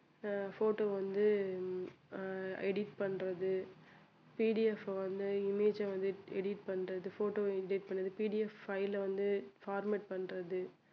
அஹ் photo வந்து அஹ் edit பண்றது PDF அ வந்து image ஆ வந்து edit பண்றது photo வ edit பண்றது PDF file அ வந்து format பண்றது